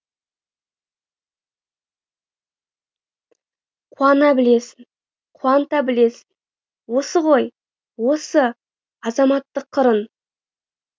қуана білесің қуанта білесің осы ғой осы азаматтық қырың